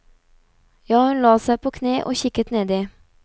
Ja, hun la seg på kne og kikket nedi.